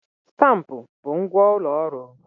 Stampụ bụ ngwa ụlọ ọrụ.